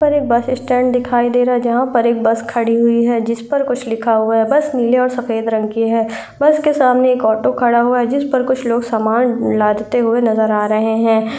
पर एक bus stand दिखाइ दे रहा है जहां पर एक बस खड़ी हुई है जिस पर कुछ लिखा हुआ है। बस नीले और सफेद रंग की है। बस के सामने एक आटो खड़ा हुआ है जिस पर कुछ लोग सामान लादते हुए नजर आ रहे हैं।